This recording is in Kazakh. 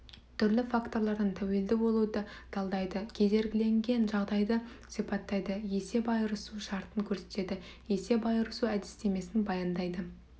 түрлі факторлардан тәуелді болуды талдайды кедергіленген жағдайды сипаттайды есеп айырысу шартын көрсетеді есеп айырысу әдістемесін баяндайды